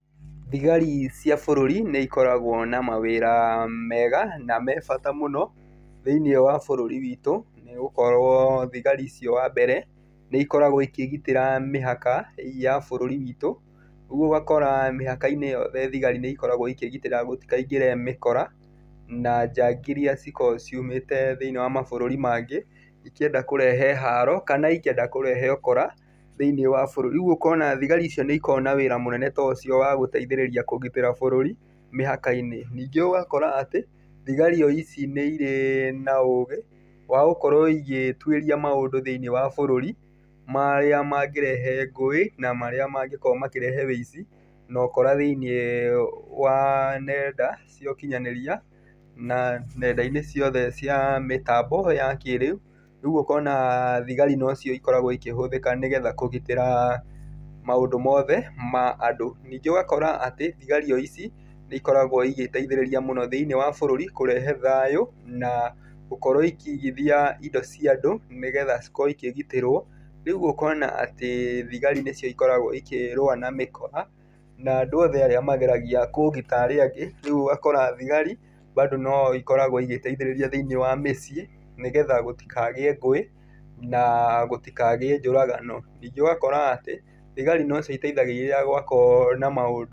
Thigari cia bũrũri nĩ ikoragwo na mawĩra mega na me bata mũno thĩiniĩ wa bũrũri witũ nĩgũkorwo thigari icio wambere, nĩ ikoragwo ikĩgitĩra mĩhaka ya bũrũri witũ, rĩu ũgakora mĩhaka-inĩ ĩyo thigari nĩ ikoragwo ikĩgitĩra gũtikaingĩre mĩkora na njangiri iria cikoragwo ciumĩte thĩiniĩ wa mabũrũri mangĩ ikĩenda kũrehe haro kana ikĩenda kũrehe ũkora thĩiniĩ wa bũrũri, rĩu ũkona thigari icio nĩikoragwo na wĩra mũnene tocio wa gũteithĩrĩria kũgitĩra bũrũri mĩhaka-inĩ. Ningĩ ũgakora atĩ thigari o ici nĩ irĩ na ũgĩ wa gũkorwo igĩtuĩria maũndũ thĩiniĩ wa bũrũri, marĩa mangĩrehe ngũĩ na marĩa mangĩkorwo makĩrehe wũici nokora thĩiniĩ wa nenda cia ũkinyanĩria, na nenda-inĩ ciothe cia mĩtambo ya kĩĩrĩu, rĩu ũkona thigari nocio ikoragwo ikĩhũthĩka, nĩgetha kũgitĩra maũndũ mothe ma andũ. Ningĩ ũgakora atĩ thigari o ici nĩikoragwo igĩteithĩrĩria mũno thĩiniĩ wa bũrũri kũrehe thayũ na gũkorwo ikĩigithia indo cia andũ nĩgetha cikorwo ikĩgitĩrwo, rĩu ũkona atĩ thigari nĩcio ikoragwo ikĩrũa na mĩkora na andũ othe arĩa mageragia kũũgita andũ aria angĩ, rĩu ũgakora thigari bado no ikoragwo igĩteithĩrĩria thĩiniĩ wa mĩciĩ nĩgetha gũtikagĩe ngũĩ na gũtikagĩe njũragano. Ningĩ ũgakora atĩ thigari nocio iteithagĩrĩria rĩrĩa gwakorwo na maũndũ...